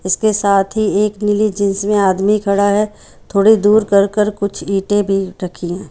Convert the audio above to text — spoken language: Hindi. इसके साथ ही एक नीली जीन्स में आदमी खड़ा है थोड़े दूर कर-कर कुछ ईंट भी रखी है।